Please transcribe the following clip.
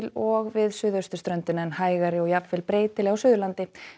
og við suðausturströndina en hægari og jafnvel breytileg á Suðurlandi